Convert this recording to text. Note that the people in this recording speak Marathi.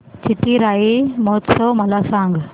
चिथिराई महोत्सव मला सांग